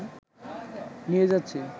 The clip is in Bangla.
নিয়ে যাচ্ছে